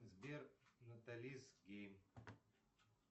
сбер наталис гейм